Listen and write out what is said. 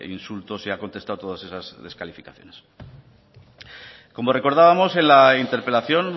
insultos y ha contestado todas esas descalificaciones como recordábamos en la interpelación